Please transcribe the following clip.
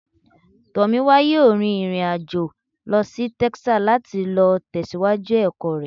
Tomiwa yọọ rín irín-ajọ̀ lọ sí Texas, lati lọ tẹsiwaju ẹkọ rẹ.